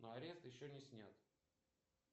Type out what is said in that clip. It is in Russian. но арест еще не снят